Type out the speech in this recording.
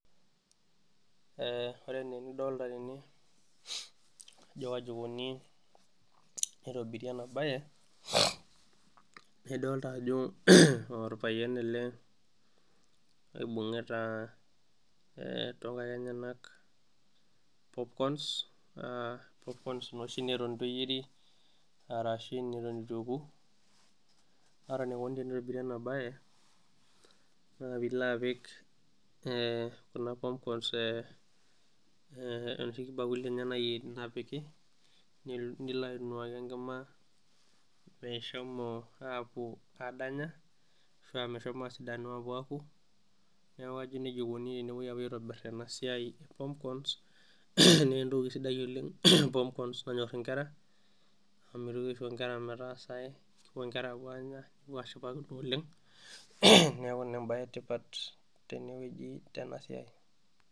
Ore enaa enidolita tene ajo kaji eikoni tenitobiri ena bae, naa idolita ajo orpayian ele oibungita toonkaek enyenak popkons, naa popkons noshi neton eitu eyeirisho ashu neton eitu eku ,naa ore enikoni ena bae naa pee ilo apik kuna popkons enoshi bakulini enye, nilo ainuaki enkima meshomo apuo aadanya ashua meshomo apuo a sidanu apuo aku, neeku kajo enejia eikoni tenepuo aitobir ena siai epopkons ,naa entoki sidai oleng popkons nanyor inkera ,amu mitoki asihgo nkera metaasa ae, epuo nkera anya nepuo ashipa oleng, neeku ina embae etipat teneweji tenasiai.